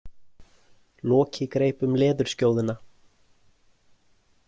Loki greip um leðurskjóðuna.